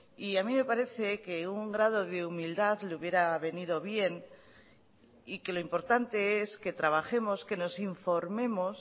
y a mí me parece que un grado de humildad le hubiera venido bien y que lo importante es que trabajemos que nos informemos